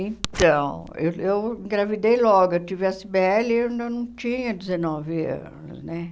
Então, eu eu engravidei logo, eu tive a Cibele e eu ainda não tinha dezenove anos, né?